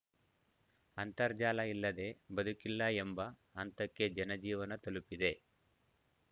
ಅಂತರ್ಜಾಲ ಇಲ್ಲದೆ ಬದುಕಿಲ್ಲ ಎಂಬ ಹಂತಕ್ಕೆ ಜನಜೀವನ ತಲುಪಿದೆ